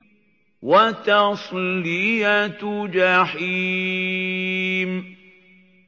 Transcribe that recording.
وَتَصْلِيَةُ جَحِيمٍ